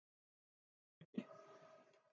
Austurbergi